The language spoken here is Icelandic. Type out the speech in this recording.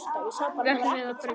Því ætlum við að breyta.